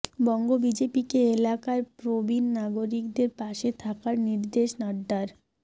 বঙ্গ বিজেপিকে এলাকার প্রবীণ নাগরিকদের পাশে থাকার নির্দেশ নাড্ডার